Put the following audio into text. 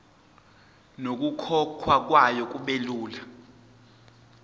nokukhokhwa kwayo kubelula